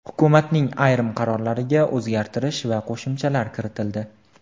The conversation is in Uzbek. Hukumatning ayrim qarorlariga o‘zgartirish va qo‘shimchalar kiritildi .